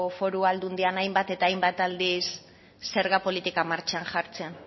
foru aldundian hainbat eta hainbat aldiz zerga politika martxan jartzen